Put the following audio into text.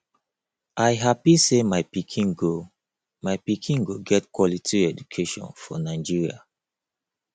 i happy say my pikin go my pikin go get quality education for nigeria